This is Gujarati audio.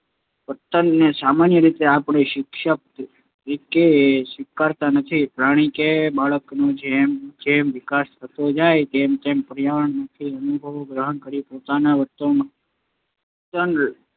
સાહજિક વર્તનને સામાન્ય રીતે આપણે શિક્ષણ તરીકે સ્વીકારતા નથી. પ્રાણી કે બાળકનો જેમ જેમ વિકાસ થતો જાય તેમ તેમ તે પર્યાવરણમાંથી અનુભવો ગ્રહણ કરીને પોતાના વર્તનમાં પરિવર્તન